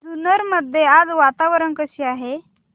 जुन्नर मध्ये आज वातावरण कसे आहे